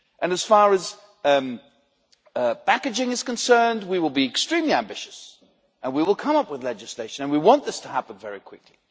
And as far as packaging is concerned, we will be extremely ambitious and we will come up with legislation, and we want this to happen very quickly.